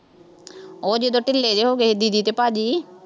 ਉਹ ਜਦੋਂ ਢਿੱਲੇ ਜਿਹੇ ਹੋ ਗਏ ਸੀ ਦੀਦੀ ਅਤੇ ਭਾਅ ਜੀ